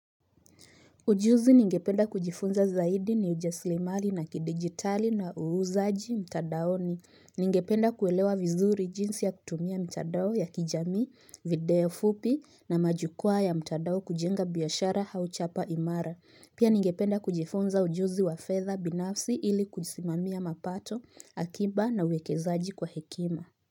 Ujuzi ningependa kujifunza zaidi ni ujasiri mali na kidigitali na uuzaji mtandaoni. Ningependa kuelewa vizuri jinsi ya kutumia mtandao ya kijamii, video fupi na majukwaa ya mtandao kujenga biashara au chapa imara. Pia ningependa kujifunza ujuzi wa fedha binafsi ili kujisimamia mapato, akiba na uwekezaaji kwa hekima.